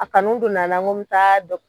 A kanu donna n na n ko n be taa dɔk